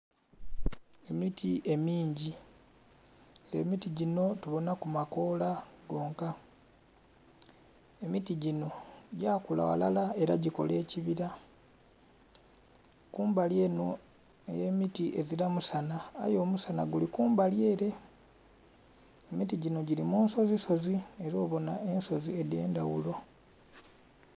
Emiti emingi, emiti gino tubonaku makola gonka, emiti gino gakula walala era gikola ekibira kumbali eno ey'emiti ezira musana aye omusana guli kumbali ere emiti gino giri munsozisozi era obono ensozi edhendhaghulo.